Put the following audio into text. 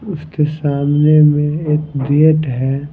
उसके सामने में एक गेट है।